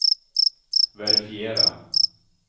verifiera